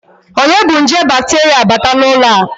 Onye bu nje bakterịa bata n'ụlọ a?